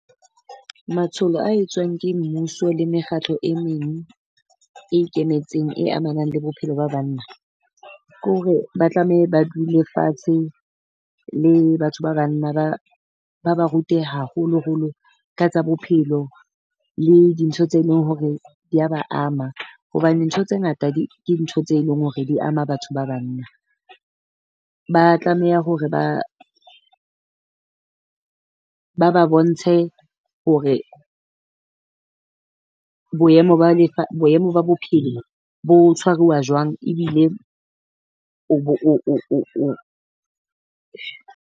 Matsholo a etswang ke mmuso le mekgatlo e meng e ikemetseng e amanang le bophelo ba banna, ke hore ba tlameha ba dule fatshe le batho ba banna ba ba ba rute haholoholo ka tsa bophelo. Le dintho tse e leng hore di a ba ama, hobane ntho tse ngata di ke ntho tse e leng hore di ama batho ba banna, ba tlameha hore ba ba ba bontshe hore boemo ba lefa boemo ba bophelo bo tshwaruwa jwang, ebile o bo .